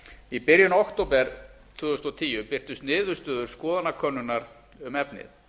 í byrjun október tvö þúsund og tíu birtust niðurstöður skoðanakönnunar um efnið